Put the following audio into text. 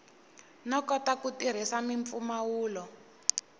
no kota ku tirhisa mimpfumawulo